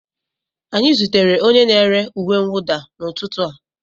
Anyị zutere onye na-ere uwe mwụda n'ụtụtụ a